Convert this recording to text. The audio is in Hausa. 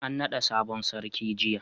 an nada sabon sarki jiya